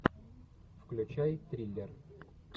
включай триллер